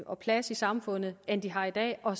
og plads i samfundet end de har i dag og